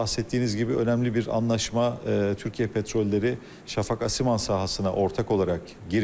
Bəhs etdiyiniz kimi, önəmli bir anlaşma Türkiyə Petrolları Şafak Asiman sahəsinə ortaq olaraq giriyor.